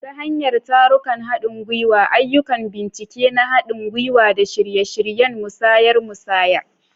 Ta hanyar tarurrukan haɗin gwiwa, ayyukan bincike na haɗin gwiwa, da shirye-shiryen musayar musayar.